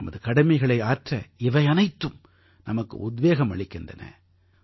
நமது கடமைகளை ஆற்ற இவை அனைத்தும் நமக்கு உத்வேகம் அளிக்கின்றன